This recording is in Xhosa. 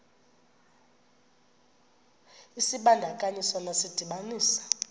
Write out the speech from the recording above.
isibandakanyi sona sidibanisa